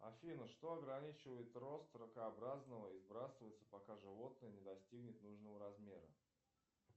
афина что ограничивает рост ракообразного и сбрасывается пока животное не достигнет нужного размера